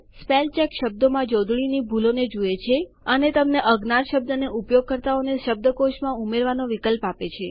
spellcheck શબ્દોમાં જોડણીની ભૂલોને જુએ છે અને તમને અજ્ઞાત શબ્દને ઉપયોગકર્તાઓના શબ્દકોશમાં ઉમેરવાનો વિકલ્પ આપે છે